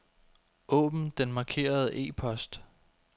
Åbn den markerede e-post.